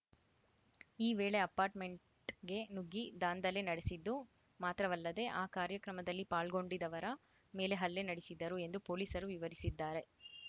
ಈ ವೇಳೆ ಅಪಾರ್ಟ್‌ಮೆಂಟ್‌ಗೆ ನುಗ್ಗಿ ದಾಂಧಲೆ ನಡೆಸಿದ್ದು ಮಾತ್ರವಲ್ಲದೆ ಆ ಕಾರ್ಯಕ್ರಮದಲ್ಲಿ ಪಾಲ್ಗೊಂಡಿದ್ದವರ ಮೇಲೆ ಹಲ್ಲೆ ನಡೆಸಿದ್ದರು ಎಂದು ಪೊಲೀಸರು ವಿವರಿಸಿದ್ದಾರೆ